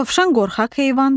Dovşan qorxaq heyvandır.